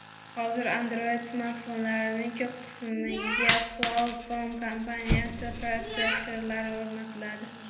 Hozir Android-smartfonlarning ko‘p qismiga Qualcomm kompaniyasi protsesstorlari o‘rnatiladi.